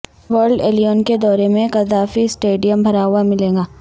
world eleven کے دورے میں قذافی اسٹیڈیم بھرا ہوا ملے گا